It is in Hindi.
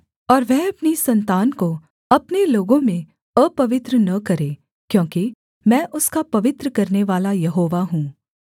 और वह अपनी सन्तान को अपने लोगों में अपवित्र न करे क्योंकि मैं उसका पवित्र करनेवाला यहोवा हूँ